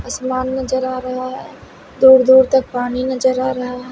आसमान नजर आ रहा है दूर-दूर तक पानी नजर आ रहा है।